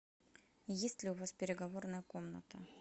есть ли у вас переговорная комната